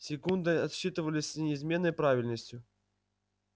секунды отсчитывались с неизменной правильностью